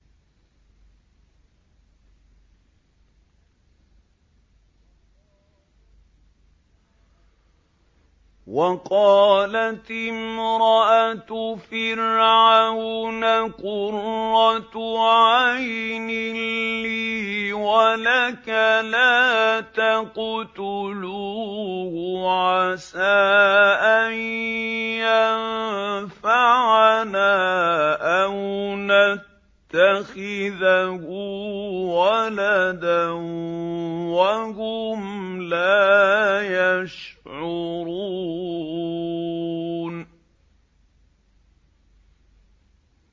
وَقَالَتِ امْرَأَتُ فِرْعَوْنَ قُرَّتُ عَيْنٍ لِّي وَلَكَ ۖ لَا تَقْتُلُوهُ عَسَىٰ أَن يَنفَعَنَا أَوْ نَتَّخِذَهُ وَلَدًا وَهُمْ لَا يَشْعُرُونَ